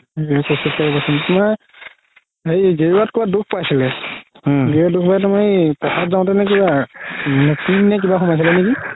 হেৰি গেৰুৱাত কৰোবাত দুখ পাইছিলে কিবা সোমাইছিলে নেকি